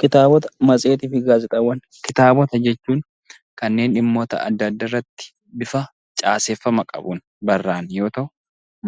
Kitaabota, Matseetii fi Gaazexaawwan. Kitaabota jechuun dhimmoota adda addaa irratti bifa caaseffama qabuun barraa'an yoo ta'u,